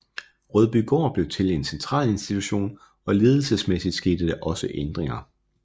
Rødbygård blev til en centralinstitution og ledelsesmæssigt skete der også ændringer